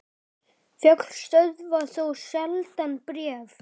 Fjöll stöðva þó sjaldan bréf.